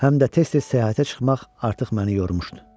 Həm də tez-tez səyahətə çıxmaq artıq məni yormuşdu.